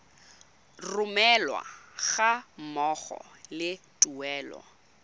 romelwa ga mmogo le tuelo